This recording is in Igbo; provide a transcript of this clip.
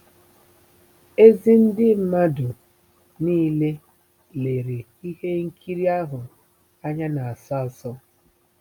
Ezi ndị mmadụ niile lere ihe nkiri ahụ anya n'asọ asọ.